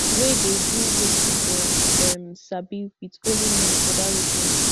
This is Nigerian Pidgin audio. wey dey do wetin dem um sabi wit only men for dat region